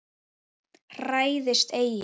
Hræðist eigi!